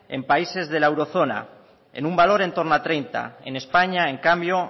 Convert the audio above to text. en países de la euro zona en un valor en torno al treinta en españa en cambio